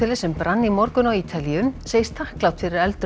sem brann í morgun á Ítalíu segist þakklát fyrir að eldurinn